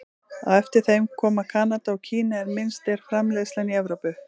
Á eftir þeim koma Kanada og Kína en minnst er framleiðslan í Evrópu.